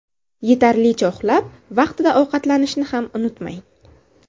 Yetarlicha uxlab, vaqtida ovqatlanishni ham unutmang.